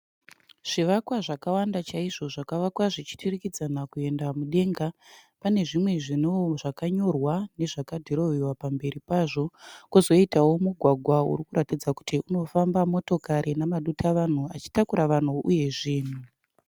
Zvivakwa zvakawanda chaizvo zvakavakwa zvichiturikidzana kuenda mudenga pane zvimwe zvakanyorwa nezvakadhirowewa pamberi pazvo . pozoitao mugwagwa urikuratidza kuti unofamba motokari nemadutavanhu achitakurao vanhu uye zvinhu.